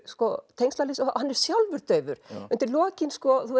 tengslaleysi hann er sjálfur daufur undir lokin